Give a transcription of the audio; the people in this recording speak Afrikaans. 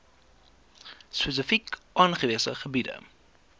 spesifiek aangewese gebiede